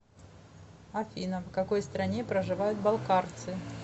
афина в какой стране проживают балкарцы